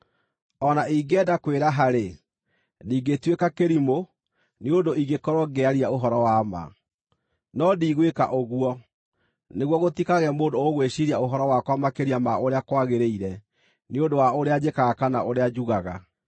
O na ingĩenda kwĩraha-rĩ, ndingĩtuĩka kĩrimũ, nĩ ũndũ ingĩkorwo ngĩaria ũhoro wa ma. No ndigwĩka ũguo, nĩguo gũtikagĩe mũndũ ũgwĩciiria ũhoro wakwa makĩria ma ũrĩa kwagĩrĩire nĩ ũndũ wa ũrĩa njĩkaga kana ũrĩa njugaga.